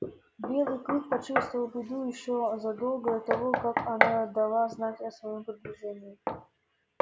белый клык почувствовал беду ещё задолго до того как она дала знать о своём приближении